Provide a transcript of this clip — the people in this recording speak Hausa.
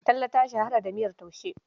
Talle ta shahara da miyar taushe.